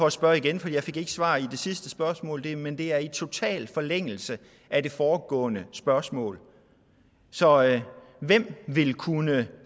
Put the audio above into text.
at spørge igen for jeg fik ikke svar i det sidste spørgsmål men det er i total forlængelse af det foregående spørgsmål så hvem vil kunne